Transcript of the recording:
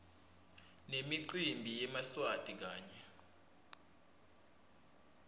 nemicimbi yemaswati kanye